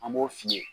An b'o f'i ye